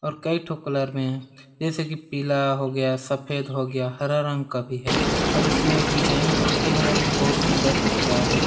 और कही ठो कलर में है जैसे की पीला हो गया सफ़ेद हो गया हरा रंग का भी है और इसमें डिज़ाइन बोलते है वो भी बहुत सुंदर दिख रही है।